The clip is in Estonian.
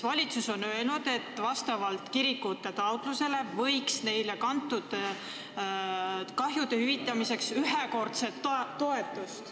Valitsus on seisukohal, et vastavalt kirikute taotlusele võiks neile anda kantud kahju hüvitamiseks ühekordset toetust.